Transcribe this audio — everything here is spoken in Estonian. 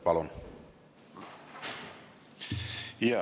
Palun!